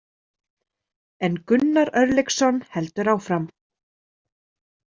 En Gunnar Örlygsson heldur áfram.